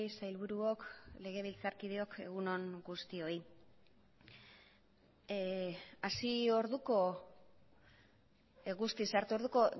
sailburuok legebiltzarkideok egun on guztioi hasi orduko guztiz sartu orduko